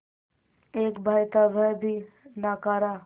एक भाई था वह भी नाकारा